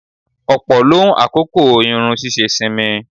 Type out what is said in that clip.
Ọ̀pọ̀ ló ń àkókò irun ṣíṣe sinmi.